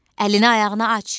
Əlini-ayağını aç.